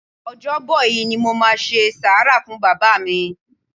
Ọjọ́ bọ̀ yí ni mo máa ṣe sàárà fún Bàbá mi.